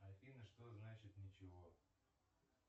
афина что значит ничего